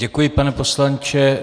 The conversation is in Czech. Děkuji, pane poslanče.